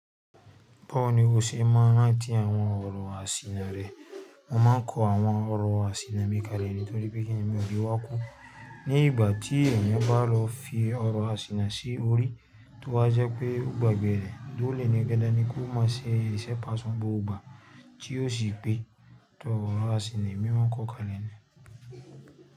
Báwo ni o ṣe máa rántí àwọn ọ̀rọ̀ àsìnà rẹ? Mo máa ń kọ àwọn ọ̀rọ̀ àsìnà bí i kalẹ̀ nítorí pé kíni ẹ̀mí ò ní wọ́n kú. Ní ìgbà tí ẹ̀mí bá lọ fi ọ̀rọ̀ àsìnà sí orí, tó wa jẹ́ pé ó gbàgbẹ́ rẹ̀, dúró lẹ́nu, dánì kó má ṣe ṣẹ̀ṣẹ̀ pàṣẹ bó ó gbà tí ó sì pé tó ọ̀rọ̀ àsìnà mi wọ́n kọ́ kalẹ̀ ni.